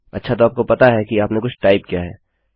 अच्छा तो आपको पता है कि आपने कुछ टाइप किया है